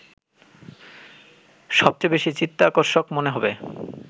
সবচেয়ে বেশি চিত্তাকর্ষক মনে হবে